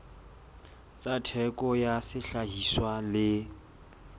tsa theko ya sehlahiswa le